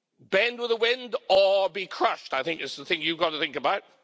Bend with the wind or be crushed, I think is the thing you've got to think about.